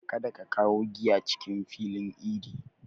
Kada ka kawo giya cikin filin idi!